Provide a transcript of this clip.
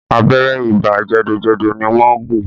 Abẹ́rẹ́ ibà jẹ̀dọ̀jẹ̀dọ̀ ni wọ́n gún un.